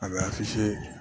A bɛ